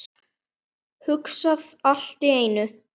Hugsa allt í einu.